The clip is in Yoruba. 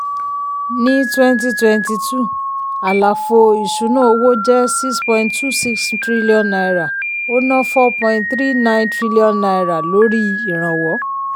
ní 2022 àlàfo ìsúná owó jẹ́ n6.26 trillion ó ná n4.39 trillion lórí ìrànwọ́.